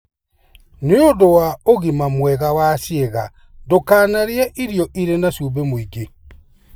Nĩ ũndũ wa ũgima mwega wa ciĩga, ndũkanarĩe irio irĩ na cumbĩ mũingĩ.